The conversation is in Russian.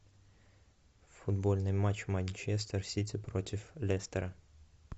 футбольный матч манчестер сити против лестера